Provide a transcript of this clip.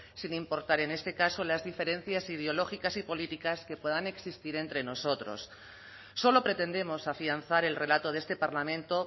sin importar en este caso las diferencias ideológicas y políticas que puedan existir entre nosotros solo pretendemos afianzar el relato de este parlamento